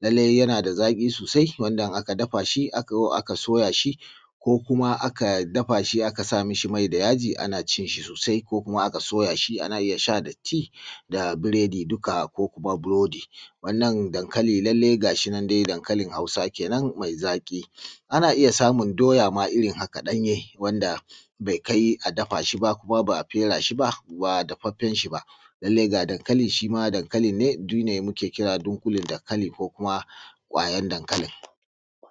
Lallai yana da zaƙi sosai wanda in aka dafa shi aka soya shi ko kuma aka dafa shi aka sa mashi mai da yaji ana cin shi sosai ko kuma aka soya shi. Ana iya sha da tea da burodi ko kuma buroːdi Wannan dankali lallai ga shi nan dai dankali Hausa kenan mai zaƙi. Ana iya samun doːya ma a irin haka ɗanye wanda bai kai a dafa shi ba kuma ba a fera shi ba, ba dafaffen shi ba. Lallai ga dankali da muke kira dunƙule dankali ko kuma ƙwayar dankali.